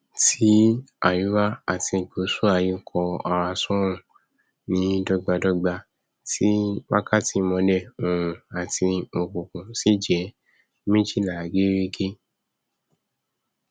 tí àríwá àti gùsù aiyé kọ ara sóòrùn ní dọgbadọgba tí wakàtí ìmọlẹ òòrùn àti òkùnkùn ṣì jẹ méjìlá gérégé